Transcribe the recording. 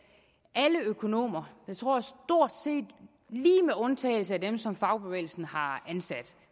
alle økonomer jeg tror stort set lige med undtagelse af dem som fagbevægelsen har ansat